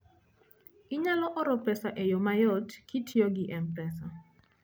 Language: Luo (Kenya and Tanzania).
Inyalo oro pesa e yo mayot kitiyo gi M-Pesa.